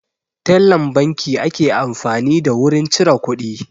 Tellan banki ake amfani da wurin cire kuɗi